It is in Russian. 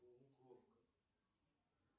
полукровка